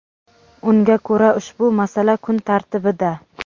Unga ko‘ra, ushbu masala kun tartibida.